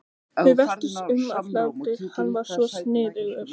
Við veltumst um af hlátri, hann var svo sniðugur.